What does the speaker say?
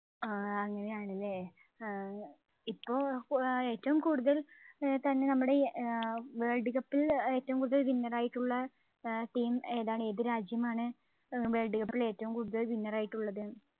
ആഹ് അങ്ങനെയാണല്ലേ ഏർ ഇപ്പോൾ ആഹ് ഏറ്റവും കൂടുതൽ ഏർ തന്നെ നമ്മുടെ ഏർ world cup ൽ ഏറ്റവും കൂടുതൽ winner റായിട്ടുള്ള ഏർ team ഏതാണ് ഏത് രാജ്യമാണ് ഏർ world cup ൽ ഏറ്റവും കൂടുതൽ winner ആയിട്ടുള്ളത്